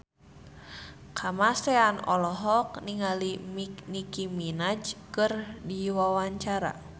Kamasean olohok ningali Nicky Minaj keur diwawancara